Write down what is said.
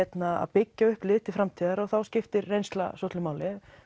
byggja upp lið til framtíðar og þá skiptir reynsla svolitlu máli